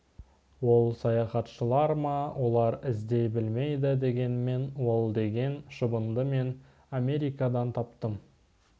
ол саяхатшылар ма олар іздей білмейді дегенмен ол деген шыбынды мен америкадан таптым